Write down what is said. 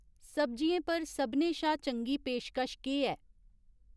सब्जियें पर सभनें शा चंगी पेशकश केह् ऐ ?